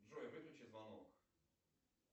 джой выключи звонок